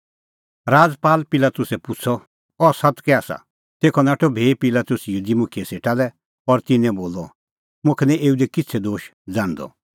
राजपाल पिलातुसै पुछ़अ अह सत्त कै आसा तेखअ नाठअ भी पिलातुस यहूदी मुखियै सेटा लै और तिन्नां लै बोलअ मुखा निं एऊ दी किछ़ै दोश ज़ाण्हदअ